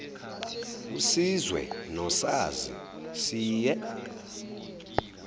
usizwe nosazi siye